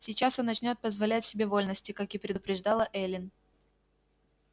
сейчас он начнёт позволять себе вольности как и предупреждала эллин